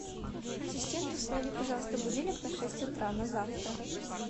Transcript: ассистент установи пожалуйста будильник на шесть утра на завтра